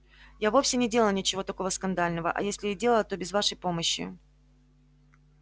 я вовсе не делала ничего такого скандального а если и делала то без вашей помощи